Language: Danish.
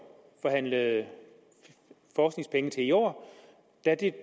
forhandlede forskningspenge til i år